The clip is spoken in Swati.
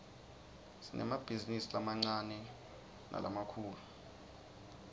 sinemabhizinisi lamancane nalamkifulu